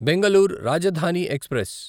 Bengaluru Rajdhani express